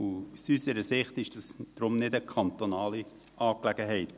Aus unserer Sicht ist es deshalb nicht eine kantonale Angelegenheit.